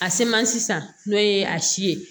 A seman sisan n'o ye a si ye